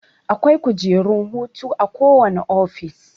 Akwai kujerun hutu a kowane office